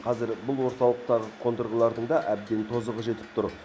қазір бұл орталықтағы қондырғылардың да әбден тозығы жетіп тұр